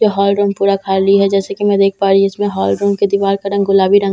यह hall room पूरा खाली है जैसे कि मैं देख पा रही हूं इसमें हॉल रूम के दीवार का रंग गुलाबी रंग का जैसे कि मैं।